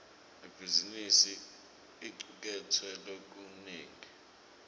ibhizimisi icuketse lokunengi